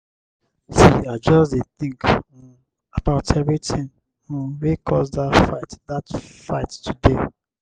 wen i come back from skool i dey write everytin wey happen for journal.